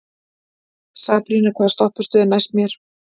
Sabrína, hvaða stoppistöð er næst mér?